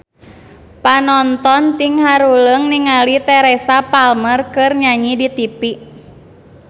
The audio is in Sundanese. Panonton ting haruleng ningali Teresa Palmer keur nyanyi di tipi